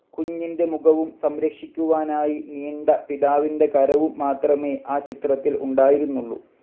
കുഞ്ഞിൻ്റെ മുഖവും സംരക്ഷിക്കുവാനായി നീണ്ട പിതാവിൻ്റെ കരവും മാത്രമേ ആ ചിത്രത്തിൽ ഉണ്ടായിരുന്നുള്ളു.